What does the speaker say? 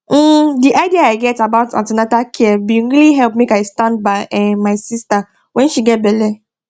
um the idea i get about an ten atal care bin really help me make i stand by um my sister when she get belle